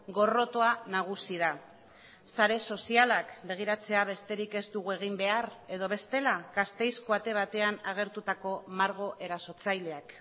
gorrotoa nagusi da sare sozialak begiratzea besterik ez dugu egin behar edo bestela gasteizko ate batean agertutako margo erasotzaileak